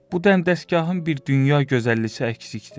Bu dəstgahın bir dünya gözəlliyi əksikdir.